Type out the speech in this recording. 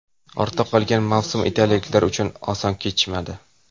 Ortda qolgan mavsum italiyaliklar uchun oson kechmadi.